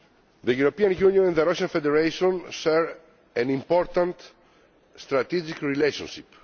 The European Union and the Russian Federation share an important strategic relationship.